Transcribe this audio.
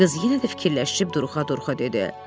Qız yenə də fikirləşib duruxa-duruxa dedi.